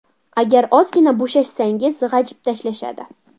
Agar ozgina bo‘shashsangiz g‘ajib tashlashadi.